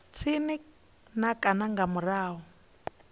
tsini na kana nga murahu